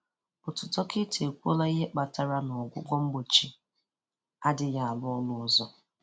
Otu dọkịta ekwuola ihe kpatara na ọgwụ mgbochi adịghị arụ ọrụ ọzọ